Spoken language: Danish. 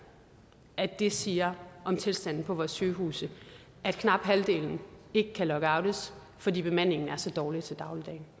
at det siger om tilstanden på vores sygehuse at knap halvdelen ikke kan lockoutes fordi bemandingen er så dårlig